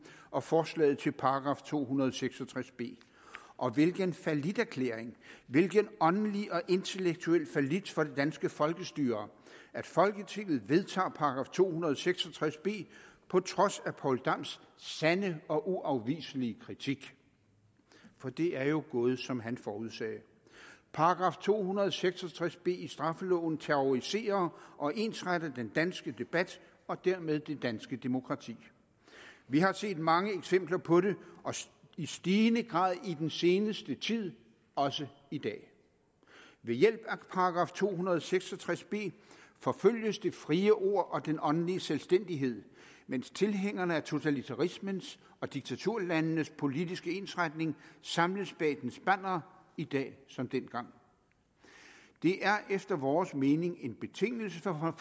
og forslaget til § to hundrede og seks og tres b og hvilken falliterklæring hvilken åndelig og intellektuel fallit for det danske folkestyre at folketinget vedtager § to hundrede og seks og tres b på trods af poul dams sande og uafviselige kritik for det er jo gået som han forudsagde § to hundrede og seks og tres b i straffeloven terroriserer og ensretter den danske debat og dermed det danske demokrati vi har set mange eksempler på det og i stigende grad i den seneste tid også i dag ved hjælp af § to hundrede og seks og tres b forfølges det frie ord og den åndelige selvstændighed mens tilhængerne af totalitarismens og diktaturlandenes politiske ensretning samles bag dens bannere i dag som dengang det er efter vores mening en betingelse for